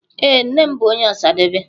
Ee, nne m bu onye Osadebe.